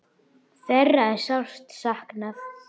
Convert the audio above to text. Þeirra er sárt saknað.